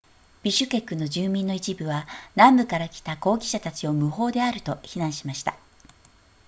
ビシュケクの住民の一部は南部から来た抗議者たちを無法であると非難しました